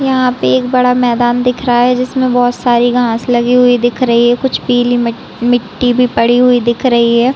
यहाँ पे एक बड़ा मैदान दिख रहा हैं जिसमे बोहत सारी घाँस लगी हुई दिख रही है कुछ पीली मट मिट्टी भी पड़ी हुई दिख रही है।